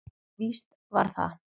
Víst var það.